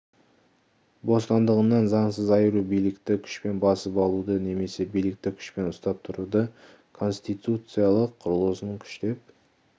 бостандығынан заңсыз айыру билікті күшпен басып алуды немесе билікті күшпен ұстап тұруды конституциялық құрылысын күштеп